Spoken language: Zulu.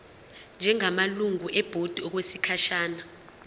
njengamalungu ebhodi okwesikhashana